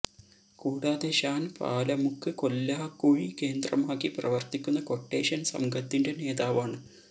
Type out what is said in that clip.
കൂടാതെ ഷാൻ പാലമുക്ക് കൊല്ലാകുഴി കേന്ദ്രമാക്കി പ്രവർത്തിക്കുന്ന ക്വട്ടേഷൻ സംഘത്തിെൻറ നേതാവാണ്